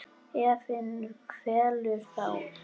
Efinn kvelur þá.